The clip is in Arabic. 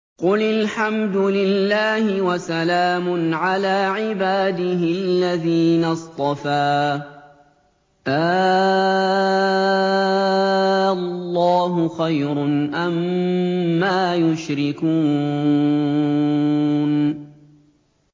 قُلِ الْحَمْدُ لِلَّهِ وَسَلَامٌ عَلَىٰ عِبَادِهِ الَّذِينَ اصْطَفَىٰ ۗ آللَّهُ خَيْرٌ أَمَّا يُشْرِكُونَ